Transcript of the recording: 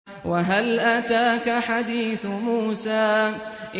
وَهَلْ أَتَاكَ حَدِيثُ مُوسَىٰ